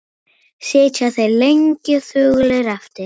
Sitja þeir lengi þögulir eftir.